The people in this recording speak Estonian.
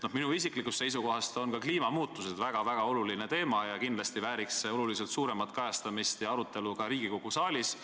Minu isiklikust seisukohast on kliimamuutused väga-väga oluline teema ja kindlasti vääriks see märksa suuremat kajastamist ja arutelu Riigikogu saalis.